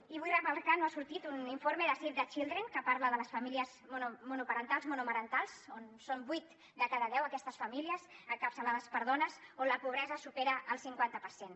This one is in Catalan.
i vull remarcar no ha sortit un informe de save the children que parla de les famílies monoparentals i monomarentals on són vuit de cada deu aquestes famílies encapçalades per dones on la pobresa supera el cinquanta per cent